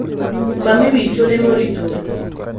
Mami wake nĩ mũritũ